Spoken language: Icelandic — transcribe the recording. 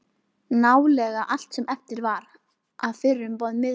Nálega allt sem eftir var af fyrrum miðborg